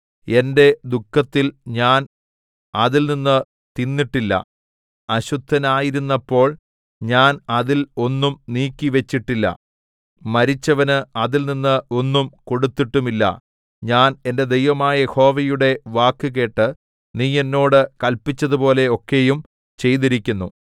എന്റെ ദുഃഖത്തിൽ ഞാൻ അതിൽ നിന്നു തിന്നിട്ടില്ല അശുദ്ധനായിരുന്നപ്പോൾ ഞാൻ അതിൽ ഒന്നും നീക്കിവെച്ചിട്ടില്ല മരിച്ചവന് അതിൽനിന്ന് ഒന്നും കൊടുത്തിട്ടുമില്ല ഞാൻ എന്റെ ദൈവമായ യഹോവയുടെ വാക്കുകേട്ട് നീ എന്നോട് കല്പിച്ചതുപോലെ ഒക്കെയും ചെയ്തിരിക്കുന്നു